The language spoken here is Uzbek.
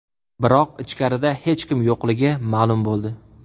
Biroq ichkarida hech kim yo‘qligi ma’lum bo‘ldi.